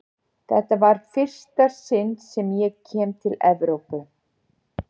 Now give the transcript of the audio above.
Þetta var í fyrsta sinn sem ég kem til Evrópu.